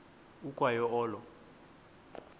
ukwa yo olo